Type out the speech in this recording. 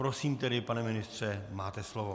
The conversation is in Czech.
Prosím tedy, pane ministře, máte slovo.